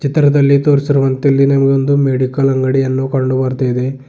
ಚಿತ್ರದಲ್ಲಿ ತೋರಿಸಿರುವಂತೆ ಇಲ್ಲಿ ನಮಗೆ ಒಂದು ಮೆಡಿಕಲ್ ಅಂಗಡಿಯನ್ನು ಕಂಡು ಬರ್ತಾಯಿದೆ.